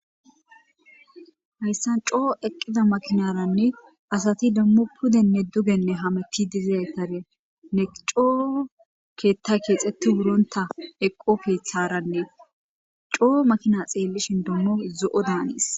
hayssan coo eqqida makinaranne asati demmo pudenne dugenne hametti dizaytare ne coo keetta keexeti buronta eqo keeththaranne coo makina xeellishin dommo zo7o daanis